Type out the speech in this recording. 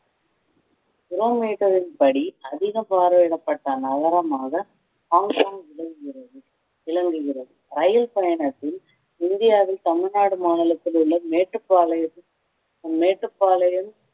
துருவ மீட்டரின் படி அதிகம் பார்வையிடப்பட்ட நகரமாக ஹாங்காங் விளங்குகிறது விளங்குகிறது ரயில் பயணத்தில் இந்தியாவில் தமிழ்நாடு மாநிலத்தில் உள்ள மேட்டுப்பாளையம் ஹம் மேட்டுப்பாளையம்